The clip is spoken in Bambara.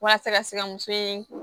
Walasa ka se ka muso in